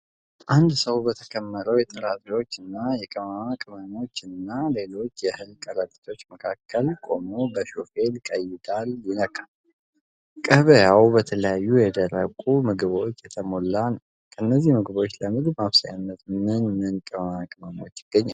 አንድ ሰው በተከመረው የጥራጥሬዎች፣ የቅመማ ቅመሞች እና ሌሎች የእህል ከረጢቶች መካከል ቆሞ በሾፌል ቀይዳል ይለካል። ገበያው በተለያዩ የደረቁ ምግቦች የተሞላ ነው። ከእነዚህ ምግቦች ለምግብ ማብሰያነት ምን ምን ቅመማ ቅመሞች ይገኛሉ?